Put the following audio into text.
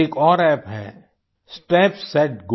एक और अप्प है स्टेप सेट गो